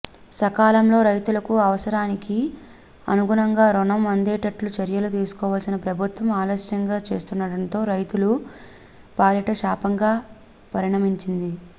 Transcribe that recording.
సకాలంలో రైతులకు అవసరానికి అనుగునంగా రుణం అందేటట్లు చర్యలు తీసుకోవాల్సిన ప్రభుత్వం ఆలస్యం చేస్తుడంటంతో రైతుల పాలిట శాపంగా పరిణమించింది